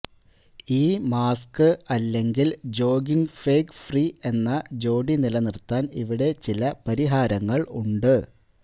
ഈ മാസ്ക് അല്ലെങ്കിൽ jogging fog free എന്ന ജോഡി നിലനിർത്താൻ ഇവിടെ ചില പരിഹാരങ്ങൾ ഉണ്ട്